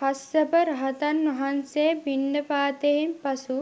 කස්සප රහතන් වහන්සේ පිණ්ඩපාතයෙන් පසු